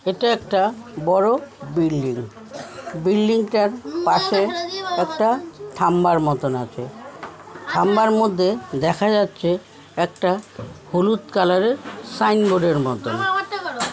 এটা একটা বড়ো বিল্ডিং বিল্ডিং -টার পাশে একটা থামবার মতন আছে। থামবার মধ্যে দেখা যাচ্ছে একটা হলুদ কালার -এর সাইন বোর্ডের মতন।